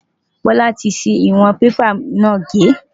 Bola ti ṣi ìwọ̀n bébà náà gé.